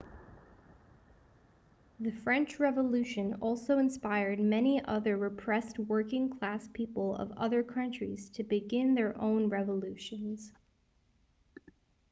the french revolution also inspired many other repressed working class people of other country's to began their own revolutions